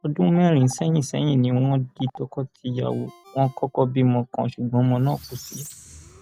ọdún mẹrin sẹyìn sẹyìn ni wọn di tọkọtìyàwó wọn kọkọ bímọ kan ṣùgbọn ọmọ náà kò sí